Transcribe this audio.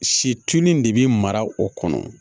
Situnu in de bɛ mara o kɔnɔ